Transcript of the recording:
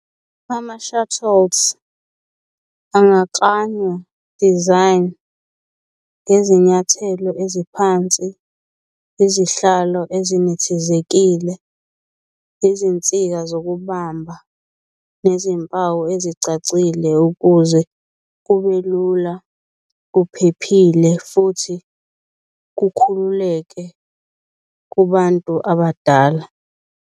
Ama-shuttles angaklanywa, design, ngezinyathelo eziphansi, izihlalo ezinethezekile, izinsika zokubamba, nezimpawu ezicacile ukuze kube lula, kuphephile futhi kukhululeke kubantu abadala.